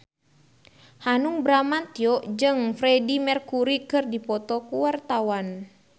Hanung Bramantyo jeung Freedie Mercury keur dipoto ku wartawan